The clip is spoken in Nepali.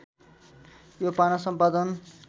यो पाना सम्पादन